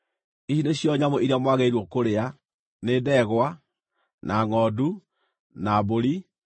Ici nĩcio nyamũ iria mwagĩrĩirwo kũrĩa: nĩ ndegwa, na ngʼondu, na mbũri,